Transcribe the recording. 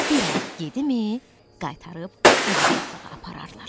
Bir az yedimi, qaytarıb həqiqi otlağa apararlar.